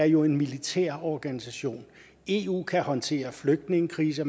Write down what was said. jo er en militær organisation eu kan håndtere flygtningekriser